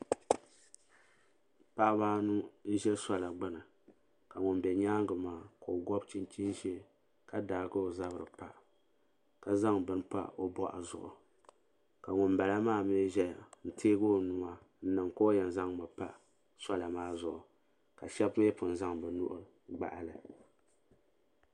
Paɣaba anu n ʒe sola gbini ka ŋun be nyaanga maa ka o gɔbi chichin 'ʒee ka daagi o zabri pa ka zaŋ bini pa o boɣu zuɣu ka ŋunbala maa mee ʒɛya n teegi o nua n niŋ ka o yen zaŋmi pa sola maa zuɣu ka Sheba mee pun zaŋ bɛ nuhi n gbahi li.